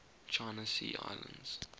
china sea islands